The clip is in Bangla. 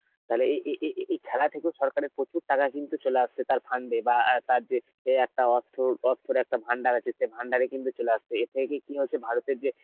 তালে এ~ এ~ এ~ এ~ এই খেলা থেকে সরকারের প্রচুর টাকা কিন্তু চলে আসছে তার fund এ বা অ্যাঁ তার যে ধরো একটা অর্থ, অর্থের একটা ভান্ডার আছে সেই ভান্ডারে কিন্তু চলে আসছে কি হচ্ছে ভারতের যে